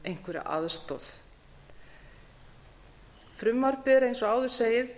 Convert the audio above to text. einhverja aðstoð frumvarpið er eins og áður segir